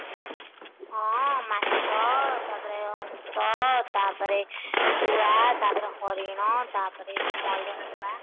ହଁ ମାଛ ତାପରେ ହଂସ ତାପରେ ଶୁଆ ତାପରେ ହରିଣ ତାପରେ ଯୋଉ ମୟୁର ହବ ବା